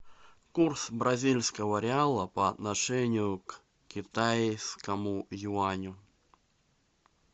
курс бразильского реала по отношению к китайскому юаню